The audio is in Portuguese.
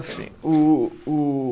Assim, o o